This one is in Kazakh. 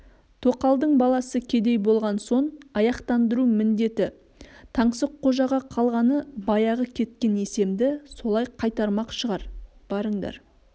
тоқалдың баласы кедей болған сон аяқтандыру міндеті таңсыққожаға қалғаны баяғы кеткен есемді солай қайтармақ шығар барыңдар